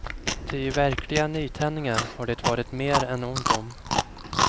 Ty verkliga nytändningar har det varit mer än ont om.